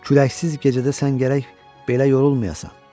Küləksiz gecədə sən gərək belə yorulmayasan.